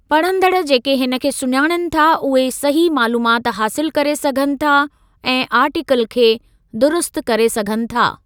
पढ़ंदड़ु जेके हिन खे सुञाणनि था उहे सही मालूमात हासिलु करे सघनि था ऐं आर्टीकल खे दुरुस्तु करे सघनि था।